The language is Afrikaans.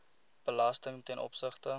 belasting ten opsigte